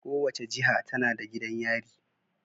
Kowace jiha tana da gidan yari.